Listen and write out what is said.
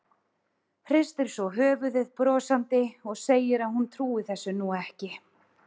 Hristir svo höfuðið brosandi og segir að hún trúi þessu nú ekki.